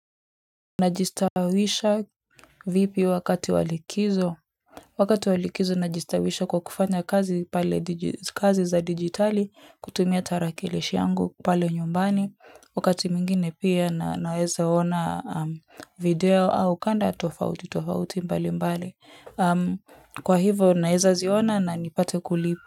Najistawisha vipi wakati wa likizo wakati wal ikizo najistawisha kwa kufanya kazi pale kazi za digitali kutumia tarakilishi yangu pale nyumbani wakati mwingine pia na naweza ona video au kanda tofauti tofauti mbali mbali kwa hivyo naeza ziona na nipate kulipa.